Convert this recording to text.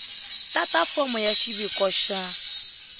tata fomo ya xiviko xa